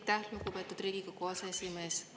Aitäh, lugupeetud Riigikogu aseesimees!